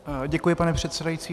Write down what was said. Děkuji, pane předsedající.